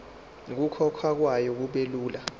nokukhokhwa kwayo kubelula